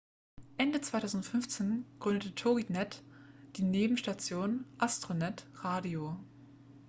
ende 2015 gründete toginet die nebenstation astronet radio